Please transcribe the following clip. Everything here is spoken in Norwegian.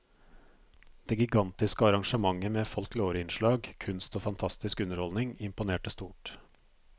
Det gigantiske arrangementet med folkloreinnslag, kunst og fantastisk underholdning imponerte stort.